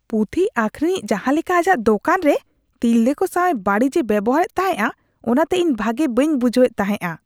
ᱯᱩᱛᱷᱤ ᱟᱠᱷᱨᱤᱧᱤᱡ ᱡᱟᱦᱟ ᱞᱮᱠᱟ ᱟᱡᱟᱜ ᱫᱳᱠᱟᱱ ᱨᱮ ᱛᱤᱨᱞᱟᱹ ᱠᱚ ᱥᱟᱣ ᱵᱟᱹᱲᱤᱡᱼᱮ ᱵᱮᱣᱦᱟᱨᱮᱫ ᱛᱟᱦᱮᱸᱜᱼᱟ ᱚᱱᱟᱛᱮ ᱤᱧ ᱵᱷᱟᱜᱮ ᱵᱟᱹᱧ ᱵᱩᱡᱷᱟᱹᱣ ᱮᱫ ᱛᱟᱦᱮᱸᱜᱼᱟ ᱾